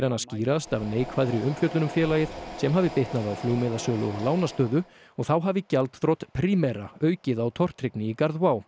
hana skýrast af neikvæðri umfjöllun um félagið sem hafi bitnað á flugmiðasölu og lánastöðu og þá hafi gjaldþrot Primera aukið á tortryggni í garð